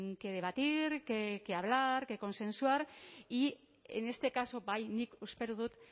que debatir que hablar que consensuar y en este caso bai nik espero dut